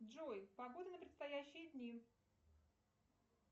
джой погода на предстоящие дни